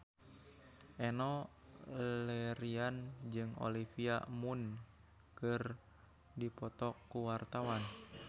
Enno Lerian jeung Olivia Munn keur dipoto ku wartawan